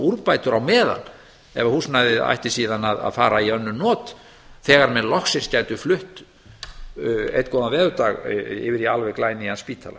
úrbætur á meðan ef að húsnæðið ætti síðan að fara í önnur not þegar menn loksins gætu flutt einn góðan veðurdag yfir í glænýjan spítala